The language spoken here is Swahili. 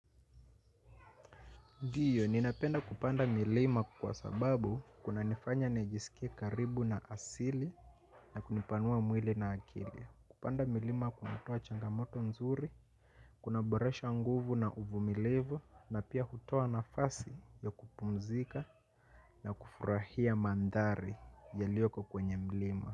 Ndiyo, ninapenda kupanda milima kwa sababu kuna nifanya nijisikia karibu na asili na kunipanua mwili na akili. Kupanda milima kunatoa changamoto nzuri, kunaboresha nguvu na uvumilivu na pia hutoa nafasi ya kupumzika na kufurahia mandari yaliyoko kwenye mlima.